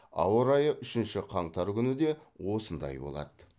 ауа райы үшінші қаңтар күні де осындай болады